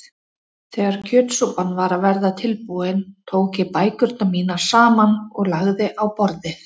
Þegar kjötsúpan var að verða tilbúin tók ég bækurnar mínar saman og lagði á borðið.